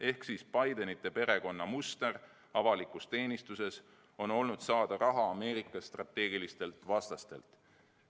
Ehk siis Bidenite perekonna, ütleme nii, muster avalikus teenistuses on olnud saada raha Ameerika strateegilistelt vastastelt.